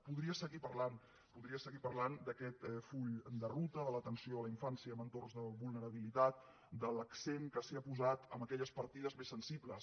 podria seguir parlant podria seguir parlant d’aquest full de ruta de l’atenció a la infància en entorns de vulnerabilitat de l’accent que s’ha posat en aquelles partides més sensibles